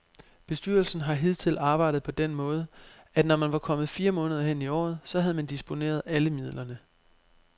Bestyrelsen har hidtil arbejdet på den måde, at når man var kommet fire måneder hen i året, så havde man disponeret alle midlerne.